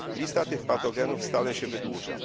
Lista tych patogenów stale się wydłuża.